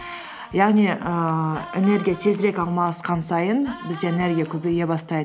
яғни ііі энергия тезірек алмасқан сайын бізде энергия көбейе бастайды